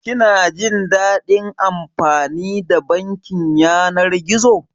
Kina jin daɗin amfani da bankin yanar gizo?